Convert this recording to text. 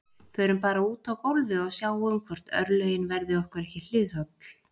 Förum bara út á gólfið og sjáum hvort örlögin verði okkur ekki hliðholl